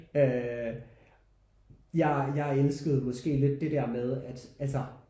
Øh jeg jeg elskede måske lidt der med at altså